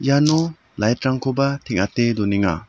iano lait rangkoba teng·ate donenga.